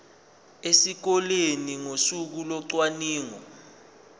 esikoleni ngosuku locwaningo